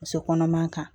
Muso kɔnɔman kan